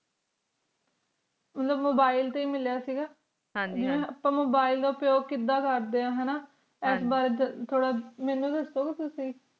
ਮੇਨੂ Mobile ਤੇ ਹੈ ਮਿਲਿਆ ਸਿੰਘ ਇਸ ਬਾਰੇ ਵਿਚ ਦੱਸੋ ਗੇ ਮੇਨੂ ਤੁਸੀਂ